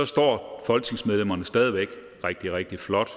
står folketingsmedlemmerne stadig væk er rigtig rigtig flot